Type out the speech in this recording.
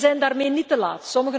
Wij zijn daarmee niet te laat.